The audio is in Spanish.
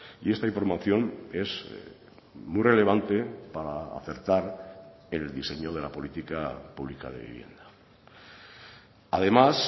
y esta información es muy relevante para acertar el diseño de la política pública de vivienda además